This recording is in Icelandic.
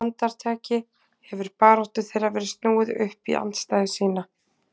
Á andartaki hefur baráttu þeirra verið snúið upp í andstæðu sína.